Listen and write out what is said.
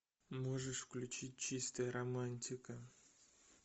можешь включить чистая романтика